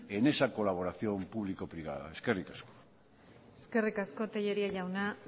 en esa colaboración público privada eskerrik asko eskerrik asko tellería jauna